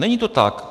Není to tak.